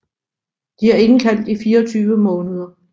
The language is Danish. De er indkaldt i 24 måneder